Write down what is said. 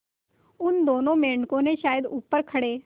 उन दोनों मेढकों ने शायद ऊपर खड़े